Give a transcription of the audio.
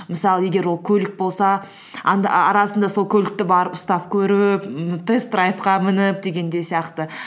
мысалы егер ол көлік болса арасында сол көлікті барып ұстап көріп ммм тест драйвқа мініп дегендей сияқты